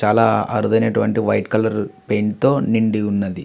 చాలా అరుదైనటువంటి white colour paint తో నిండి వుంది.